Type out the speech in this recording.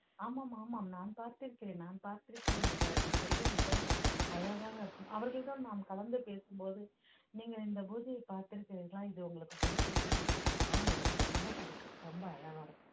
ஆமாம் ஆமாம் நான் பார்த்திருக்கிறேன் நான் பார்த்திருக்கிறேன் என்று அவர்கள் சொல்லும் விதம் அழகாக இருக்கும் அவர்கள்தான் நாம் கலந்து பேசும்போது நீங்கள் இந்த பூஜையை பார்த்திருக்கிறீர்களா இது உங்களுக்கு பிடித்திருக்குமா ஆனால் எனக்கு ரொம்ப பிடிக்கும் ரொம்ப அழகா இருக்கும்